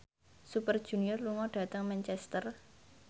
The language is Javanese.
Super Junior lunga dhateng Manchester